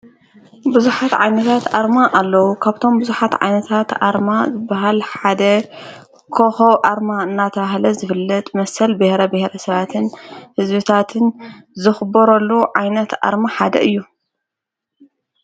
ብዙኃት ዓይኒታት ኣርማ ኣለዉ ካብቶም ብዙኃት ዓይነታት ኣርማ ዘበሃል ሓደ ኮሆ ኣርማ እናተብሃለ ዘፍለጥ መሰል ብሔረ ብሔረ ሰባትን ሕዘቢታትን ዘኽቡረሉ ዓይነት ኣርማ ሓደ እዩ።